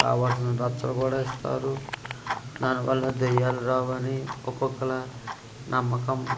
కావలసిన రక్షా కూడా ఇస్తారు దాని వాళ్ళ దెయ్యాలు రావు అని ఒకొక్కల నమ్మకం.